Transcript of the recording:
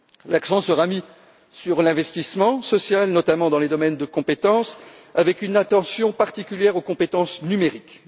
L'accent sera mis sur l'investissement social, notamment dans les domaines de compétences, avec une attention particulière aux compétences numériques.